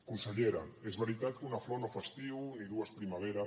consellera és veritat que una flor no fa estiu ni dues primavera